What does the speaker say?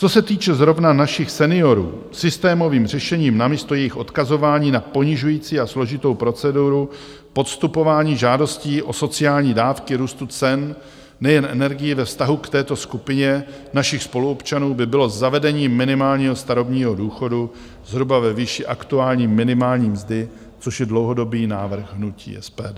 Co se týče zrovna našich seniorů, systémovým řešením namísto jejich odkazování na ponižující a složitou proceduru podstupování (?) žádostí o sociální dávky růstu cen nejen energií ve vztahu k této skupině našich spoluobčanů by bylo zavedení minimálního starobního důchodu zhruba ve výši aktuální minimální mzdy, což je dlouhodobý návrh hnutí SPD.